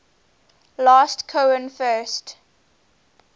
last cohen first